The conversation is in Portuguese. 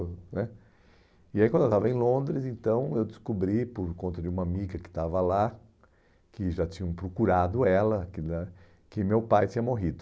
né E aí quando eu estava em Londres, eu descobri, por conta de uma amiga que estava lá, que já tinham procurado ela, que né, que meu pai tinha morrido.